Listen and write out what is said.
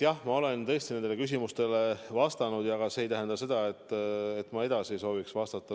Jah, ma olen tõesti nendele küsimustele vastanud, aga see ei tähenda seda, et ma edasi ei sooviks vastata.